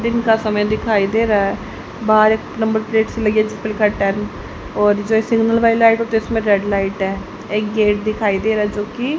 दिन का समय दिखाई दे रहा है बाहर एक नंबर प्लेट से लगे चप्पल का टैग और जो सिग्नल वाली लाइट होती है उसमें रेड लाइट है एक गेट दिखाई दे रहा है जो की--